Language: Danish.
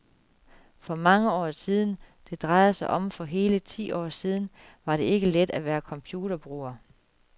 For mange år siden, det drejer sig om for hele ti år siden, var det ikke let at være computerbruger.